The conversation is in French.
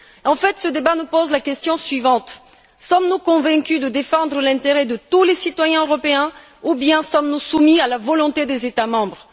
En fait, ce débat nous pose la question suivante sommes nous convaincus de défendre l'intérêt de tous les citoyens européens ou bien sommes nous soumis à la volonté des États membres?